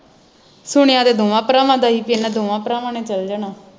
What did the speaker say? ਸੁਣਿਆ ਤੇ ਦੋਵਾਂ ਭਰਾਵਾਂ ਦਾ ਹੀ ਕਿ ਇਹਨਾਂ ਦੋਵਾਂ ਭਰਾਵਾਂ ਨੇ ਚਲ ਜਾਣਾ